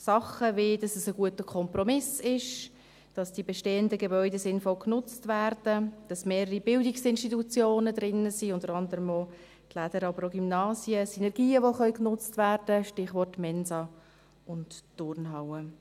Dinge, wie dass es ein guter Kompromiss ist, dass die bestehenden Gebäude sinnvoll genutzt werden, dass mehrere Bildungsinstitutionen drin sind, unter anderem auch die «Lädere», aber auch Gymnasien, Synergien die genutzt werden können – Stichwort Mensa und Turnhalle.